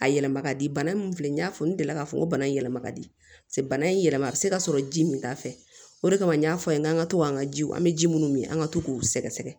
A yɛlɛma ka di bana min filɛ n'i y'a fɔ n delila k'a fɔ ko bana in yɛlɛma ka di bana in yɛlɛma a bi se ka sɔrɔ ji min t'a fɛ o de kama n y'a fɔ a ye k'an ka to an ka jiw an bɛ ji minnu min an ka to k'u sɛgɛsɛgɛ